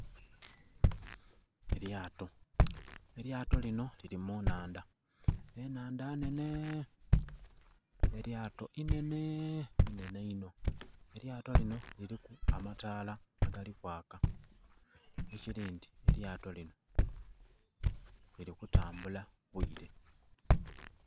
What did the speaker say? Elyato elyato linho lili mu nhandha enhandha nnhene, elyato inhene.. inhene inho. Elyato linho liliku amataala agali kwaaka ekili nti elyato linho lili kutambula bwiire.